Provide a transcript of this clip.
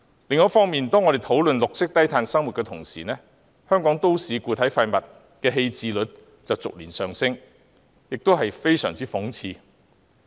另一方面，當我們討論綠色低碳生活時，香港都市固體廢物的棄置率卻逐年上升，非常諷刺。